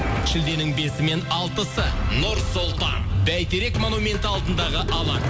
шілденің бесі мен алтысы нұр сұлтан бәйтерек монументі алдындағы алаң